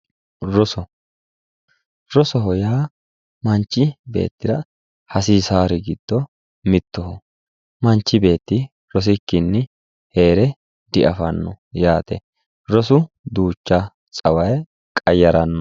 Roso, rosoho yaa manchi beettira hasiisari giddo mittoho manchi beetti rosikkinni heere diafano yaate rosu duucha tsawaye qayarano.